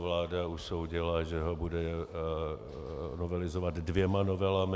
Vláda usoudila, že ho bude novelizovat dvěma novelami.